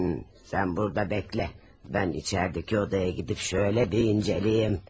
Sən burada gözlə, mən içəridəki otağa gedib beləcə bir incələyim.